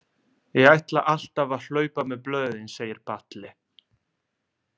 Ég ætla alltaf að hlaupa með blöðin, segir Palli.